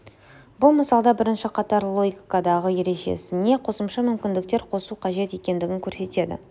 бұл мысалда бірінші қатарлы логикадағы ережесіне қосымша мүмкіндіктер қосу қажет екендігін көрсетеді